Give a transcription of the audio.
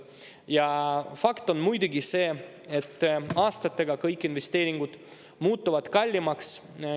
Ja fakt on muidugi see, et aastatega kõik investeeringud muutuvad kallimaks.